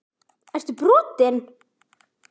Ertu brotinn??!